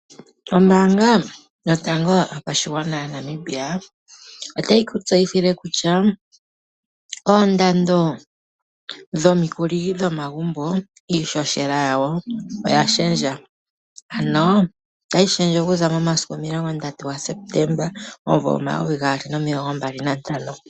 Ombaanga yotango yopashigwana yaNamibia otayi ku tseyithile kutya, oondando dhomikuli dhomagumbo, iishoshela yawo oya shendja, ano otayi shendje okuza momasiku 30 gaSepetemba 2025.